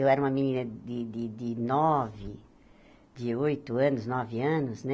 Eu era uma menina de de de nove, de oito anos, nove anos, né?